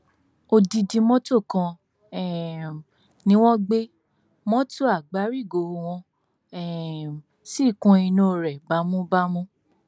odidi mọtò kan um ni wọn gbé mọtò àgbárígò wọn um sì kún inú rẹ bámúbámú